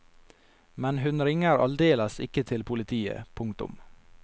Men hun ringer aldeles ikke til politiet. punktum